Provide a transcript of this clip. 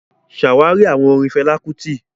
Ṣàwárí àwọn orin Fẹlá Kútì